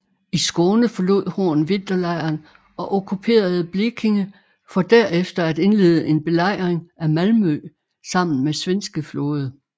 I Skåne forlod Horn vinterlejren og okkuperede Blekinge for derefter at indlede en belejring af Malmö sammen med svenske flåde